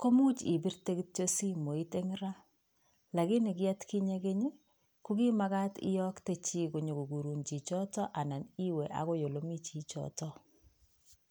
komuch ibirtee kityok simoit en raa, lakini kit atkinyee keny i,kokimaagat iyoktee chi konyo konyor chichitok anan iwe olemi chichotok